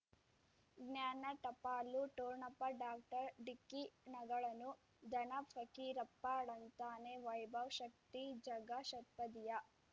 ಜ್ಞಾನ ಟಪಾಲು ಠೊಣಪ ಡಾಕ್ಟರ್ ಢಿಕ್ಕಿ ಣಗಳನು ಧನ ಫಕೀರಪ್ಪ ಳಂತಾನೆ ವೈಭವ್ ಶಕ್ತಿ ಝಗಾ ಷಟ್ಪದಿಯ